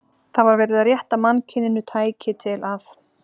Það var verið að rétta mannkyninu tæki til að